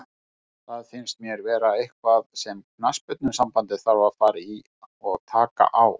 Það finnst mér vera eitthvað sem knattspyrnusambandið þarf að fara í og taka á.